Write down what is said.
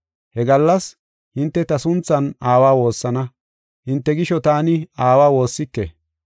He gallas hinte ta sunthan Aawa woossana; hinte gisho taani Aawa woossike.